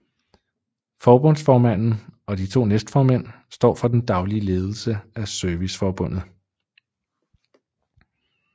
Forbundsformanden og de to næstformænd står for den daglige ledelse af Serviceforbundet